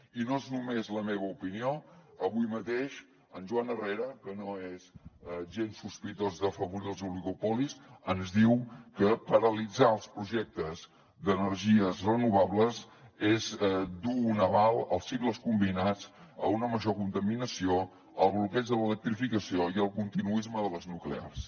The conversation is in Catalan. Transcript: i no és només la meva opinió avui mateix en joan herrera que no és gens sospitós d’afavorir els oligopolis ens diu que paralitzar els projectes d’energies renovables és du un aval als cicles combinats a una major contaminació al bloqueig de l’electrificació i al continuisme de les nuclears